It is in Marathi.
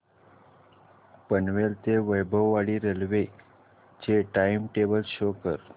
पनवेल ते वैभववाडी रेल्वे चे टाइम टेबल शो करा